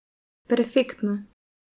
Perfektno.